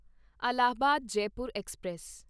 Allahabad Jaipur express